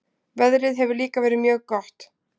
Veðrið hefur líka verið mjög gott